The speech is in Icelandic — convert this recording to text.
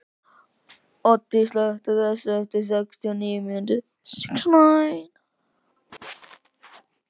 Addý, slökktu á þessu eftir sextíu og níu mínútur.